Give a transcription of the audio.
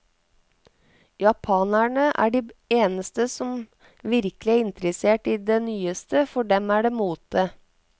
Japanerne er de eneste som virkelig er interessert i det nyeste, for dem er det mote.